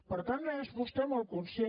per tant n’és vostè molt conscient